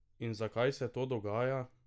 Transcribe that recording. In zakaj se to dogaja?